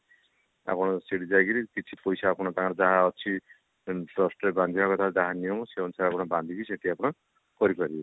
ଆପଣ ସେଠି ଯାଇକିରି କିଛି ପଇସା ଆପଣ ତାଙ୍କର ଯାହା ଅଛି ମାନେ trust ରେ ବାନ୍ଧିବା କଥା ଯାହା ନିୟମ ସେଇ ଅନୁସାରେ ଆପଣ ବାନ୍ଧିକି ସେଠି ଆପଣ କରି ପାରିବେ